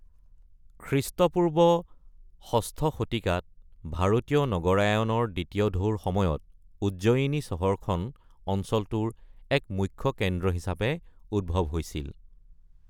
খ্ৰীষ্টপূৰ্ব ৬ শতিকাত ভাৰতীয় নগৰায়নৰ দ্বিতীয় ঢৌৰ সময়ত উজ্জয়িনী চহৰখন অঞ্চলটোৰ এক মুখ্য কেন্দ্ৰ হিচাপে উদ্ভৱ হৈছিল।